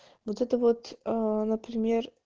вот это вот например